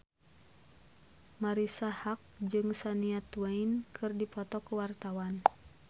Marisa Haque jeung Shania Twain keur dipoto ku wartawan